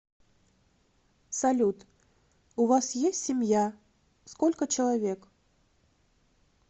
салют у вас есть семья сколько человек